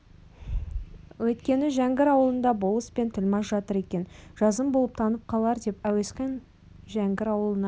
өйткені жәңгір ауылында болыс пен тілмаш жатыр екен жазым болып танып қалар деп әуесқан жәңгір ауылына